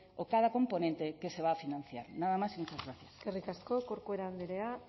o cada componente que se va a financiar nada más y muchas gracias eskerrik asko corcuera andrea